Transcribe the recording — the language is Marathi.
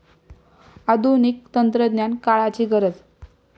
आधुनिक तंत्रज्ञान काळाची गरज